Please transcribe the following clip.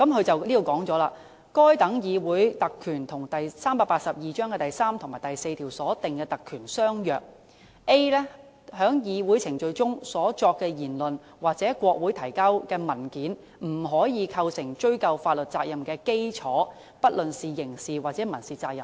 文件指出，該等議會特權與第382章第3及4條所訂的特權相若 ，a 段指出："在議會程序中所作的言論或向國會提交的文件，不可構成追究法律責任的基礎，不論是刑事或民事責任。